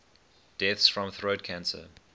deaths from throat cancer